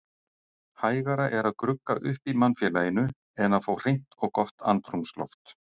Hægara er að grugga upp í mannfélaginu en að fá hreint og gott andrúmsloft.